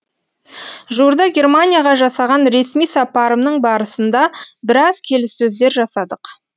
жуырда германияға жасаған ресми сапарымның барысында біраз келіссөздер жасадық